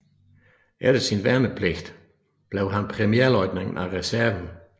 Efter sin værnepligt blev han premierløjtnant af reserven